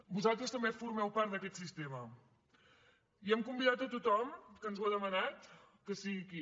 vosaltres també formeu part d’aquest sistema i hem convidat a tothom que ens ho ha demanat que sigui aquí